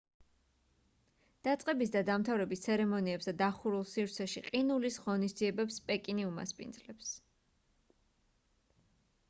დაწყების და დამთავრების ცერემონიებს და დახურულ სივრცეში ყინულის ღონისძიებებს პეკინი უმასპინძლებს